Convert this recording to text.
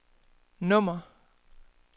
nummer